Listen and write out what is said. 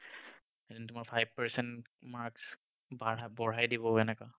সিহঁতে তোমাৰ five percent marks বঢ়াই দিব হেনেকুৱা।